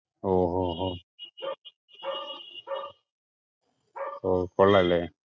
ഓഹ് ഓഹ് ഓഹ് ഓ കൊള്ളാം അല്ലെ?